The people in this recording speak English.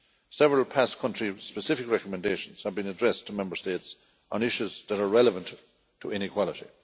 Several past country specific recommendations have been addressed to Member States on issues that are relevant to inequality.